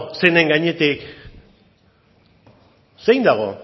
zeinen gainetik zein dago